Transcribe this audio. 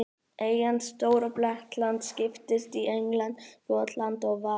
Eyjan Stóra-Bretland skiptist í England, Skotland og Wales.